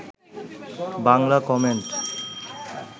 Bangla comment